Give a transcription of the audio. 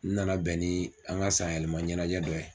N nana bɛn ni an ka san yɛlɛma ɲɛnajɛ dɔ ye.